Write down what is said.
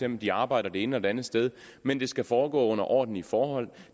om de arbejder det ene eller det andet sted men det skal foregå under ordentlige forhold